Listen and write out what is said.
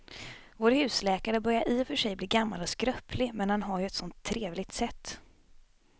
Vår husläkare börjar i och för sig bli gammal och skröplig, men han har ju ett sådant trevligt sätt!